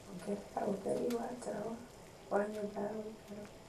ongerera utheri wa tawa wa nyũmba ya gũikara